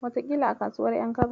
Wataƙila a kasuwar ƴan kaba.